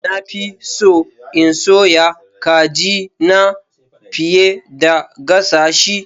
Na fi so in soya kajina fiye da gasa shi.